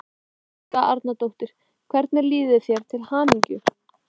Helga Arnardóttir: Hvernig líður þér, til hamingju?